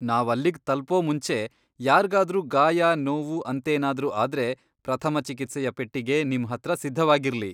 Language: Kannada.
ನಾವಲ್ಲಿಗ್ ತಲುಪೋ ಮುಂಚೆ ಯಾರ್ಗಾದ್ರೂ ಗಾಯ ನೋವು ಅಂತೇನಾದ್ರೂ ಆದ್ರೆ ಪ್ರಥಮ ಚಿಕಿತ್ಸೆಯ ಪೆಟ್ಟಿಗೆ ನಿಮ್ ಹತ್ರ ಸಿದ್ಧವಾಗಿರ್ಲಿ.